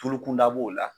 Tulu kunda b'o la